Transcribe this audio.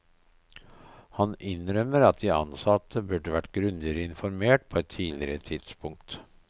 Han innrømmer at de ansatte burde vært grundigere informert på et tidligere tidspunkt.